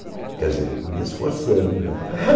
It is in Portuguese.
Quer dizer, me esforçando, né?